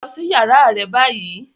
Lọ si yàrá rẹ ni bayi!